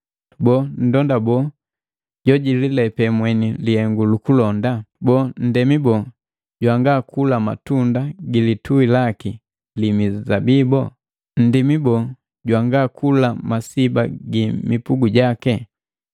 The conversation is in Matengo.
Boo, nndonda boo jojililepe mweni lihengu lu ulonda? Boo, ndemi boo jwangakula matunda gi lituhi laki li mizabibo? Nndimi boo jwangakula masiba gi mipugu gake?